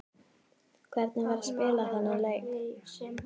Hvernig var að spila þennan leik?